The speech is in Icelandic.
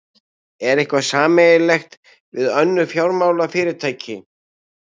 En hvað með sameiningu við önnur fjármálafyrirtæki?